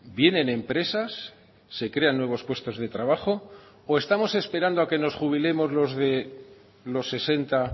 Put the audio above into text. vienen empresas se crean nuevos puestos de trabajo o estamos esperando a que nos jubilemos los de los sesenta